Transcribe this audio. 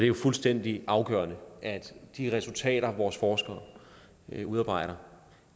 jo fuldstændig afgørende at de resultater vores forskere udarbejder